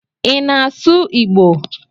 I na asụ Igbo?